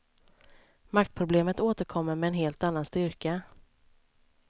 Maktproblemet återkommer med en helt annan styrka.